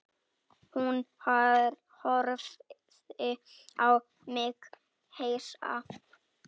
Hún horfði á mig hissa.